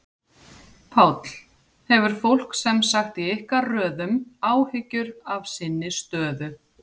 Páll: Hefur fólk sem sagt í ykkar röðum áhyggjur af sinni stöðu?